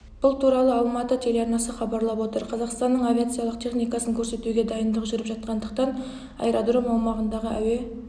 бұл туралы алматы телеарнасы хабарлап отыр қазақстанның авиациялық техникасын көрсетуге дайындық жүріп жатқандықтан аэродром аумағындағы әуе